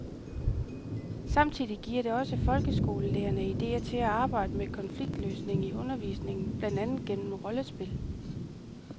Samtidig giver det også folkeskolelærerne idéer til at arbejde med konfliktløsning i undervisningen, blandt andet gennem rollespil.